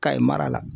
Kayi mara la